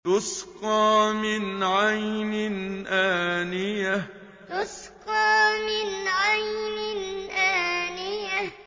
تُسْقَىٰ مِنْ عَيْنٍ آنِيَةٍ تُسْقَىٰ مِنْ عَيْنٍ آنِيَةٍ